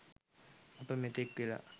අප මෙතෙක් වෙලා